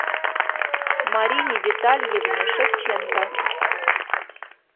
марине витальевне шевченко